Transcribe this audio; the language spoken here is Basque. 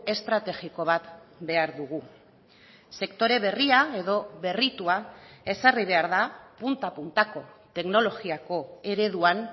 estrategiko bat behar dugu sektore berria edo berritua ezarri behar da punta puntako teknologiako ereduan